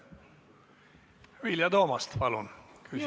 Vilja Toomast, palun!